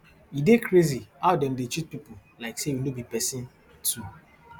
e dey crazy how dem dey treat pipo like say we no be pesin too